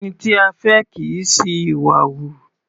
Ẹni tí a fẹ́ kì í ṣi ìwà hù.